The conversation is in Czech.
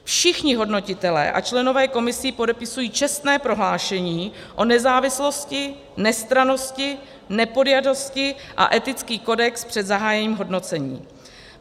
Všichni hodnotitelé a členové komisí podepisují čestné prohlášení o nezávislosti, nestrannosti, nepodjatosti a etický kodex před zahájením hodnocení.